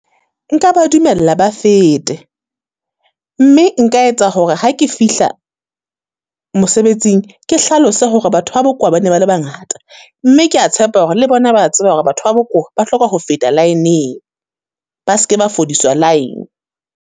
Nka ba dumella ba fete, mme nka etsa hore ha ke fihla mosebetsing ke hlalose hore batho ba bokowa ba ne ba le bangata. Mme ke ya tshepa hore le bona ba a tseba hore batho ba bokowa, ba hloka ho feta line-ng, ba seke ba fodiswa line.